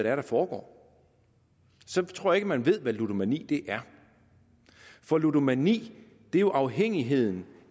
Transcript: er der foregår så tror jeg ikke man ved hvad ludomani er for ludomani er jo afhængigheden